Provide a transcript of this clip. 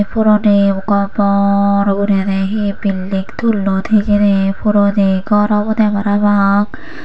puroni bor guriney hi building tullon hijeni puroni gor obwdey parapang.